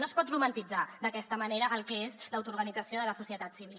no es pot romantitzar d’aquesta manera el que és l’autoorganització de la societat civil